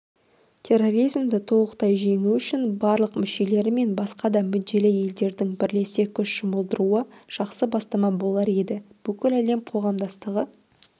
терроризмді толық жеңу үшін барлық мүшелері мен басқа да мүдделі елдердің бірлесе күш жұмылдыруы жақсы бастама болар еді бүкіл әлем қоғамдастығы